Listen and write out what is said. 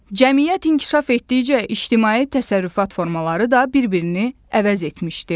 Cəmiyyət inkişaf etdikcə ictimai təsərrüfat formaları da bir-birini əvəz etmişdi.